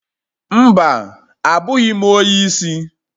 Mba, abụghị m onye isi.